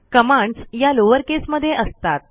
commands या lowercase मध्ये असतात